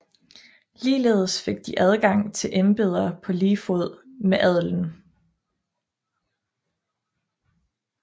Ligeledes fik de adgang til embeder på lige fod med adelen